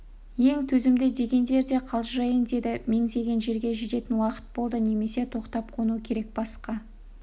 ең төзімді дегендер де қалжырайын деді меңзеген жерге жететін уақыт болды немесе тоқтап қону керек басқа